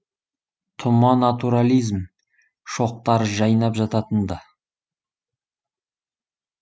тұма натурализм шоқтары жайнап жататын ды